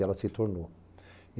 E ela se tornou.